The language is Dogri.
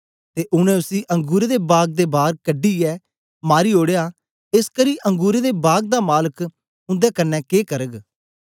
ते उनै उसी अंगुरें दे बाग दे बार कढी यै मारी ओड़या एसकरी अंगुरें दे बाग दा मालक उन्दे कन्ने के करग